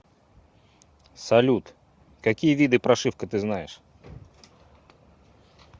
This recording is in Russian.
салют какие виды прошивка ты знаешь